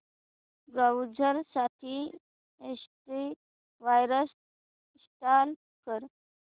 browser साठी antivirus install कर